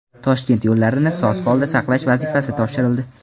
Toshkent yo‘llarini soz holda saqlash vazifasi topshirildi.